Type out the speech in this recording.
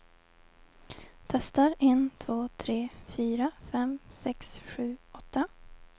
Testar en två tre fyra fem sex sju åtta.